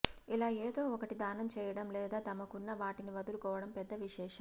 ఇలా ఏదో ఒకటి దానం చేయడం లేదా తమకున్న వాటిని వదులుకోవడం పెద్ద విశేషం కాదు